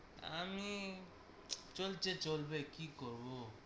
চলছে চলবে কি করবো?